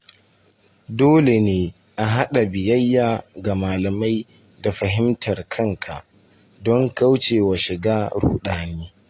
Dole ne a haɗa biyayya ga malamai da fahimtar kanka don kauce wa shiga ruɗani.